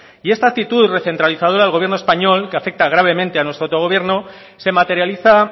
y esta actitud recentralizadora del gobierno español que afecta gravemente a nuestro autogobierno se materializa